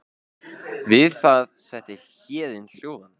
Við það setti Héðin hljóðan.